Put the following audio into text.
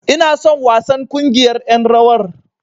Ina son wasan ƙungiyar ƴan rawar.